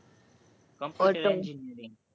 computer engineering